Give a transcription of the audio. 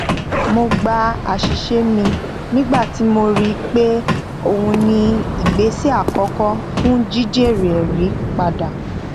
mo gba àṣìṣe mi nígbà tí mo rí i pé ohun ni ìgbésẹ àkọkọ fún jí jèrè ẹrí padà